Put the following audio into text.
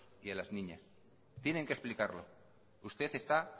y a las niñas tienen que explicarlo usted está